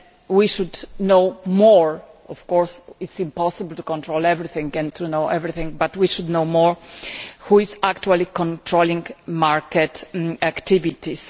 We should know more of course, it is impossible to control everything and to know everything but we should know more about who is actually controlling market activities.